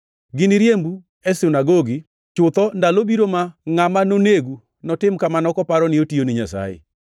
Giniriembu e sinagogi; chutho ndalo biro ma ngʼama nonegu notim kamano kaparo ni otiyo ni Nyasaye.